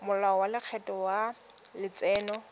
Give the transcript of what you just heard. molao wa lekgetho wa letseno